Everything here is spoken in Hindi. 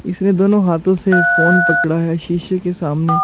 इसमें दोनों हाथों से फ़ोन पकड़ा है शीशे के सामने।